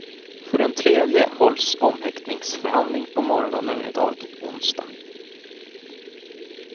För den tredje hålls omhäktningsförhandling på morgonen i dag, onsdag.